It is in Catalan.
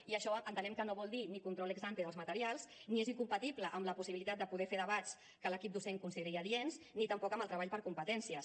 i això entenem que no vol dir ni control ex ante dels materials ni és incompatible amb la possibilitat de poder fer debats que l’equip docent consideri adients ni tampoc amb el treball per competències